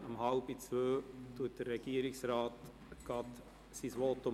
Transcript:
Danach wird der Herr Regierungsrat sprechen.